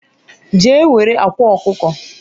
je ewere akwa okuko